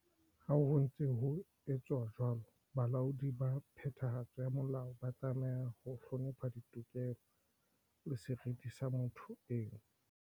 Ha ho ntse ho etswa jwalo, balaodi ba phethahatso ya molao ba tlameha ho hlonepha ditokelo le seriti sa motho eno.